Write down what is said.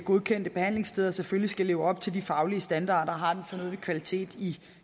godkendte behandlingssteder selvfølgelig skal leve op til de faglige standarder og har den fornødne kvalitet i